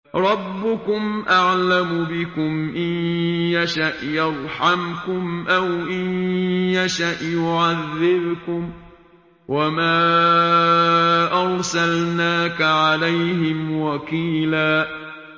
رَّبُّكُمْ أَعْلَمُ بِكُمْ ۖ إِن يَشَأْ يَرْحَمْكُمْ أَوْ إِن يَشَأْ يُعَذِّبْكُمْ ۚ وَمَا أَرْسَلْنَاكَ عَلَيْهِمْ وَكِيلًا